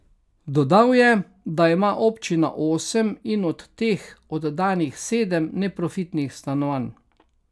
Dodal je, da ima občina osem in od teh oddanih sedem neprofitnih stanovanj.